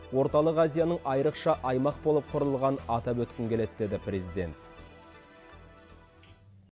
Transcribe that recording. орталық азияның айрықша аймақ болып құрылғанын атап өткім келеді деді президент